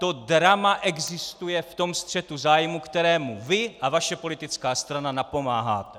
To drama existuje v tom střetu zájmů, kterému vy a vaše politická strana napomáháte.